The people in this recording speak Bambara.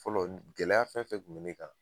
Fɔlɔ gɛlɛya fɛn fɛn kun be ne kan